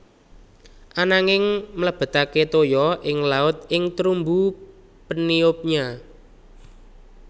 Ananging mlebetake toya ing laut ing terumbu peniupnya